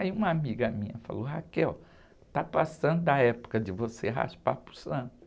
Aí uma amiga minha falou, está passando a época de você raspar para o santo.